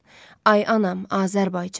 Ay anam, Azərbaycan.